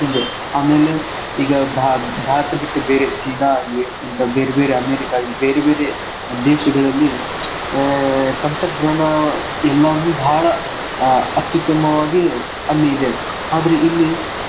ಹೀಗೆ ಆಮೇಲೆ ಈಗ ಭಾ~ ಭಾರತ ಬಿಟ್ಟ ಚೀನಾ ಆಗ್ಲಿ ಇಂತ ಬೇರ್ಬೇರೆ ಅಮೆರಿಕಾ ಆಗ್ಲಿ ಬೇರ್ಬೇರೆ ದೇಶಗಳಲ್ಲಿ ಆಹ್ ತಂತ್ರಜ್ಞಾನ ಎಲ್ಲಾನು ಬಾಳ್ ಅತ್ಯುತ್ತಮವಾಗಿ ಅಲ್ಲಿದೆ ಆದ್ರೆ ಇಲ್ಲಿ.